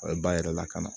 A bɛ ba yɛrɛ lakana